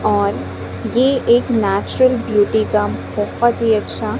और ये एक नेचुरल ब्यूटी का बहोत ही अच्छा--